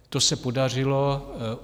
To se podařilo.